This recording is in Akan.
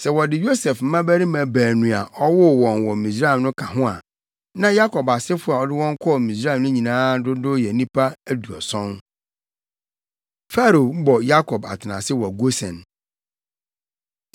Sɛ wɔde Yosef mmabarima baanu a ɔwoo wɔn wɔ Misraim no ka ho a, na Yakob asefo a ɔde wɔn kɔɔ Misraim no nyinaa dodow yɛ nnipa aduɔson. Farao Bɔ Yakob Atenase Wɔ Gosen